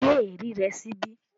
Gbé ẹ̀rí rẹ síbí